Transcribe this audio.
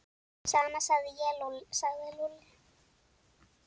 Sama segi ég sagði Lúlli.